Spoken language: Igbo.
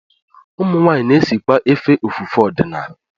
Ụmụnwaanyị na-esikwa efe ofufe ọdịnala